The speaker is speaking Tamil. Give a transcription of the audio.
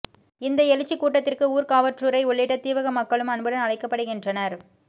இந்த எழுச்சிக் கூட்டத்திற்கு ஊர்காவற்றுறை உள்ளிட்ட தீவக மக்களும் அன்புடன் அழைக்கப்படுகின்றனர்